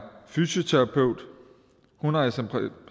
fysioterapeut og hun har i